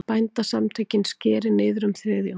Bændasamtökin skeri niður um þriðjung